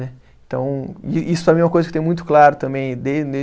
Né. Então isso para mim é uma coisa que tem muito claro também,